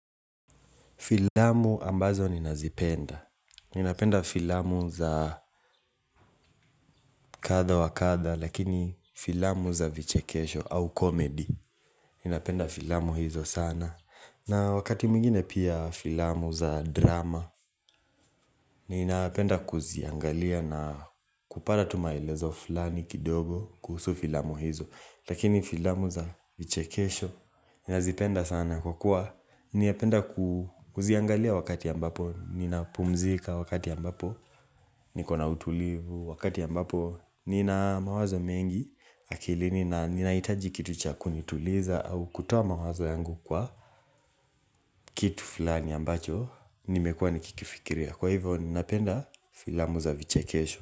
Filamu ambazo ninazipenda. Ninapenda filamu za kadha wa kadha, lakini filamu za vichekesho au komedi. Ninapenda filamu hizo sana. Na wakati mwingine pia filamu za drama, ninapenda kuziangalia na kupata tu maelezo fulani kidogo kuhusu filamu hizo. Lakini filamu za vichekesho nazipenda sana kwa kuwa ninapenda kuziangalia wakati ambapo Ninapumzika wakati ambapo nikona utulivu wakati ambapo Nina mawazo mengi akilini na ninahitaji kitu cha kunituliza au kutoa mawazo yangu kwa Kitu fulani ambacho nimekuwa nikikifikiria kwa hivyo ninapenda filamu za vichekesho.